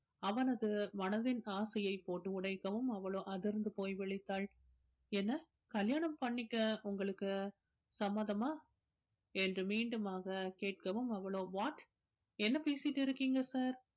அவனது மனதின் ஆசையை போட்டு உடைக்கவும் அவளோ அதிர்ந்து போய் விழித்தாள் என்னை கல்யாணம் பண்ணிக்க உங்களுக்கு சம்மதமா என்று மீண்டுமாக கேட்கவும் அவளோ what என்ன பேசிட்டு இருக்கீங்க sir